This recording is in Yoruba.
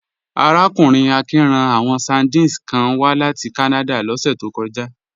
Arákùnrin Akin rán àwọn sardines kan wá láti Kánádà lọ́sẹ̀ tó kọjá